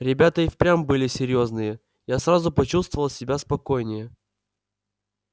ребята и впрямь были серьёзные я сразу почувствовал себя спокойнее